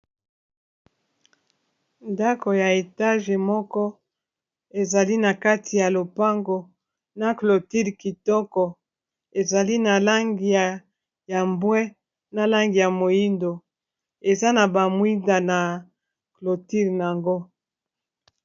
Ndako ya etage moko ezali na kati ya lopango na cloture kitoko ezali na langi ya mbwe na langi ya moyindo eza na ba mwinda na cloture nango.